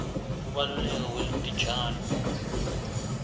kubaluleka kwetitjalo